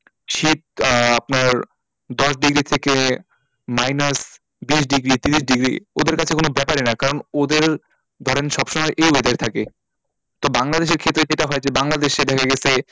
শীত আহ আপনার দশ degree থেকে minus বিশ degree ত্রিশ degree ওদেরকাছে কোনো ব্যাপারই না কারণ ওদের ধরেন সব সময় এ weather এ থাকে তো বংলাদেশের ক্ষেত্রে যেটা হয় যে বাংলাদেশে